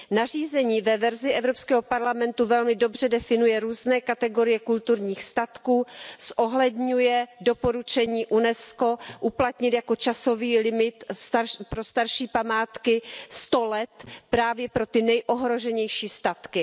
Nařízení ve verzi Evropského parlamentu velmi dobře definuje různé kategorie kulturních statků, zohledňuje doporučení UNESCO uplatnit jako časový limit pro starší památky 100 let právě pro ty nejohroženější statky.